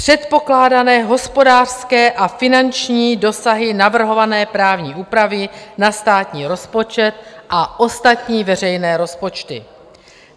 - předpokládané hospodářské a finanční dosahy navrhované právní úpravy na státní rozpočet a ostatní veřejné rozpočty.